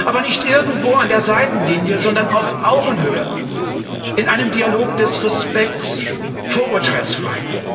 Aber nicht irgendwo an der Seitenlinie, sondern auf Augenhöhe, in einem Dialog des Respekts, vorurteilsfrei.